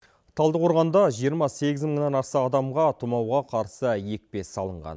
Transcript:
талдықорғанда жиырма сегіз мыңнан аса адамға тымауға қарсы екпе салынған